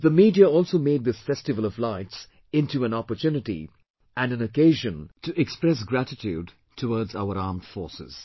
The media also made this festival of lights into an opportunity and an occasion to express gratitude towards our armed forces